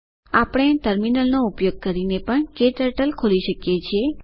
આપણે ટર્મિનલ નો ઉપયોગ કરીને પણ ક્ટર્ટલ ખોલી શકીએ છીએ